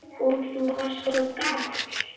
Og þú varst svo gamall.